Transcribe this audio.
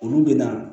Olu bɛ na